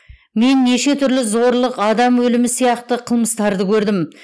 мен неше түрлі зорлық адам өлімі сияқты қылмыстарды көрдім